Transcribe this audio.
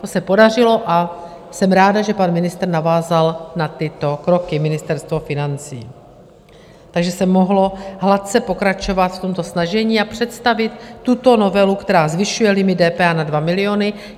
To se podařilo a jsem ráda, že pan ministr navázal na tyto kroky, Ministerstvo financí, takže se mohlo hladce pokračovat v tomto snažení a představit tuto novelu, která zvyšuje limit DPH na 2 miliony.